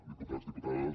diputats diputades